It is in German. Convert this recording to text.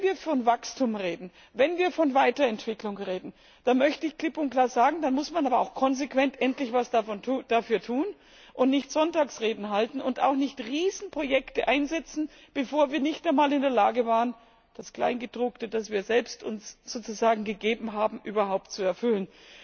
Wenn wir von Wachstum reden, wenn wir von Weiterentwicklung reden, dann möchte ich klipp und klar sagen, dann muss man aber auch konsequent endlich etwas dafür tun und nicht Sonntagsreden halten und auch nicht Riesenprojekte einsetzen, bevor wir in der Lage waren, das Kleingedruckte, das wir selbst uns sozusagen gegeben haben, überhaupt zu erfüllen.